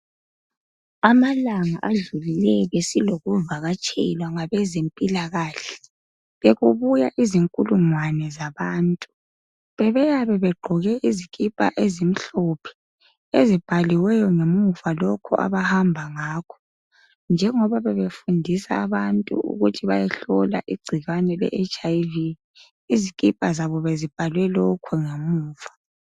Amalanga adlulileyo besilokuvakatshelwa ngabezempilakahle. Bekubuya izinkulungwane zabantu. Bebeyabe begqoke izikhipha ezimhlophe. Ezibhaliweyo ngemuva lokhu abahamba ngakho. Njengoba bebefundisa abantu ukuthi bayehlola igcikwane leHIV. Izikhipha zabo bezibhalwe lokhu ngamuva.